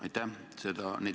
Aitäh!